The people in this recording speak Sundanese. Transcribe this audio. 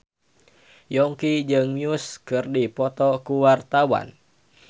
Yongki jeung Muse keur dipoto ku wartawan